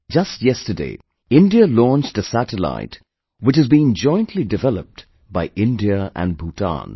Just yesterday, India launched a satellite, which has been jointly developed by India and Bhutan